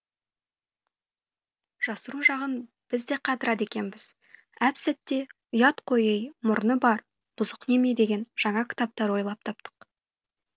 жасыру жағын біз де қатырады екенбіз әп сәтте ұят қой ей мұрны бар бұзық неме деген жаңа кітаптар ойлап таптық